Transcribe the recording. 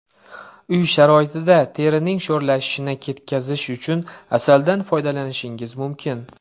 Uy sharoitida terining sho‘ralashini ketkizish uchun asaldan foydalanishingiz mumkin.